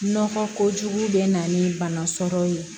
Nɔgɔ kojugu bɛ na ni bana sɔrɔ ye